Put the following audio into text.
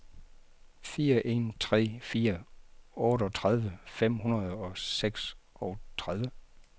fire en tre fire otteogtredive fem hundrede og seksogtredive